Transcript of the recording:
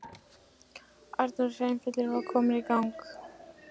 Annar hreyfillinn var kominn í gang.